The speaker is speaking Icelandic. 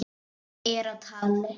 Það er á tali.